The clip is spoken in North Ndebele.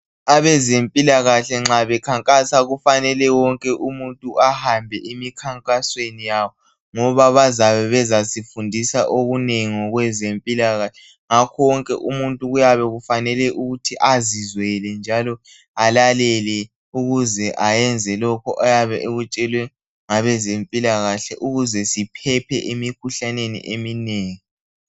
Abezempilakahle nxa bekhankasa kufanele wonke umuntu ahambe emkhankasweni yabo ngoba bazabe bezasifundisa okunengi ngokwezempilakahle ngakho wonke umuntu kuyabe kufanele ukuthi azizwele njalo alalele ukuze ayenze lokho ayabe ekutshelwe ngabezempilakahle ukuze siphephe emikhuhlaneni eminengi.